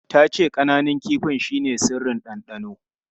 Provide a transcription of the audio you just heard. Ta ce ƙananun kifin shine sirrin dandano.